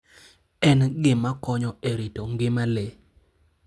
En gima konyo e rito ngima le.